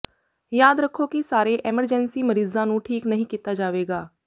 ਯਾਦ ਰੱਖੋ ਕਿ ਸਾਰੇ ਐਮਰਜੈਂਸੀ ਮਰੀਜ਼ਾਂ ਨੂੰ ਠੀਕ ਨਹੀਂ ਕੀਤਾ ਜਾਵੇਗਾ